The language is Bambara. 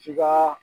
K'i ka